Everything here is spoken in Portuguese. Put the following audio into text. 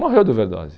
Morreu de overdose.